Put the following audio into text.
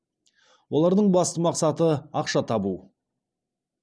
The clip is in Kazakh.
олардың басты мақсаты ақша табу